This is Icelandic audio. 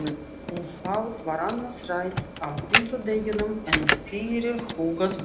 Um fátt var annað rætt á fimmtudeginum en fyrirhugað ball.